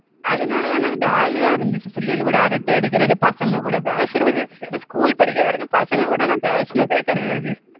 அதனால எனக்கு jolly ஆ இருந்துச்சு பிள்ளைகள் கூட அரட்டை அடிக்கிறது பசங்க கூட பேசுறது ஏன்னா school படிக்கிற வரைக்கும் பசங்க கூட நான் பேசுனதே கிடையாது